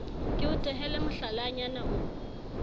ke o tehele mohlalanyana o